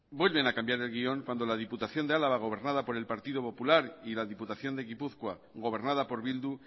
vuelven a cambiar el guión cuando la diputación de álava gobernada por el partido popular y la diputación de gipuzkoa gobernada por bildu